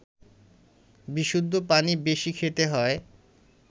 বিশুদ্ধ পানি বেশি খেতে হয়